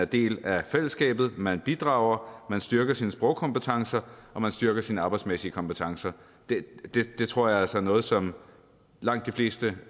del af fællesskabet man bidrager man styrker sine sprogkompetencer og man styrker sine arbejdsmæssige kompetencer det tror jeg altså er noget som langt de fleste